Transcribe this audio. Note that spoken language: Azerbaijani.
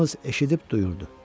Yalnız eşidib duyurdu.